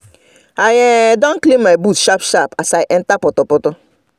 i um don clean my boots sharp sharp as i enter potopoto